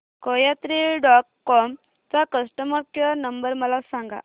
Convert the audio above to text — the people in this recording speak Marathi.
कोयात्री डॉट कॉम चा कस्टमर केअर नंबर मला सांगा